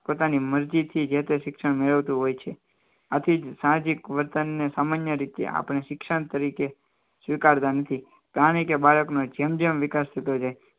પોતાની મરજીથી જે તે શિક્ષણ મેળવતું હોય છે આથી સાંજે વર્તનને સામાન્ય રીતે આપણે શિક્ષણ તરીકે સ્વીકારતા નથી કારણ કે બાળકનો જેમ જેમ વિકાસ થતો જાય